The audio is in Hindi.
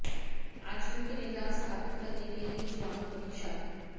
आचरण के निदान स्थापित करने के लिए जीवाणु परीक्षा